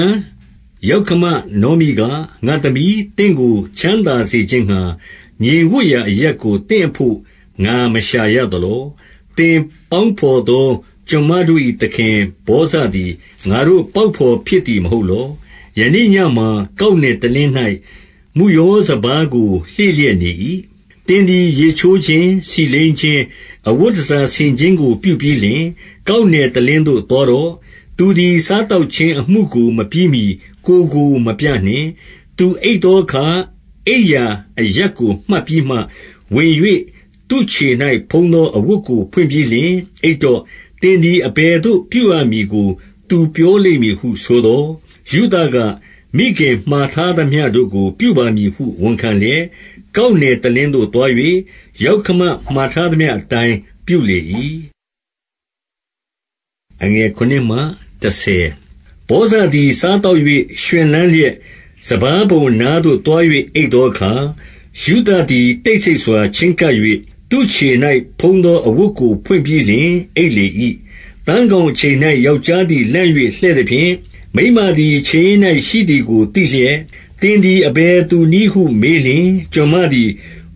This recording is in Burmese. န်ယောက္ခမနောမိက၊ ငါ့သမီး၊ သင့်ကိုချမ်းသာစေခြင်းငှါ ငြိမ်ဝပ်ရာအရပ်ကို သင့်အဘို့ငါမရှာရသ လော။ 2 သင်ပေါင်းဘော်သော ကျွန်မတို့၏သခင်ဗောဇသည် ငါတို့ပေါက်ဘော်ဖြစ်သည်မဟုတ်လော။ ယနေ့ညမှာ ကောက်နယ်တလင်း၌ မုယောစပါးကိုလှေ့လျက်နေ၏။ 3 သင်သည်ရေချိုးခြင်း၊ ဆီလိမ်းခြင်း၊ အဝတ်တန်ဆာ ဆင်ခြင်းကိုပြုပြီးလျှင် ကောက်နယ်တလင်းသို့ သွားတော့။ သူသည်စားသောက်ခြင်း အမှုကိုမပြီးမှီကိုယ်ကို မပြနှင့်။ 4 သူအိပ်သောအခါ၊ အိပ်ရာအရပ်ကိုမှတ်ပြီးမှဝင်၍ သူ့ခြေ၌ဖုံးသော အဝတ်ကိုဖွင့်ပြီးလျှင် အိပ်တော့။ သင်သည် အဘယ်သို့ပြုရမည်ကို သူပြောလိမ့်မည်ဟုဆိုသော်၊ 5 ရုသက၊ မိခင်မှာထားသမျှတို့ကို ပြုပါမည်ဟု ဝန်ခံလျက်၊ 6 ကောက်နယ်တလင်းသို့သွား၍ ယောက္ခမမှာထားသမျှ အတိုင်းပြုလေ၏။ 7 ဗောဇသည်စားသောက်၍ ရွှင်လန်းလျက်၊ စပါးပုံအနားသို့သွား၍ အိပ်သောအခါ၊ ရုသသည်တိတ်ဆိတ် စွာချဉ်းကပ်၍သူ့ခြေ၌ဖုံးသောအဝတ်ကိုဖွင့်ပြီးလျှင် အိပ်လေ၏။ 8 သန်းခေါင်အချိန်၌ ယောက်ျားသည်လန့်၍ လှည့်သဖြင့်၊ မိန်းမသည်ခြေရင်း၌ရှိသည်ကိုသိလျက်၊ 9 သင်သည်အဘယ်သူနည်းဟုမေးလျှင်၊ ကျွန်မသည်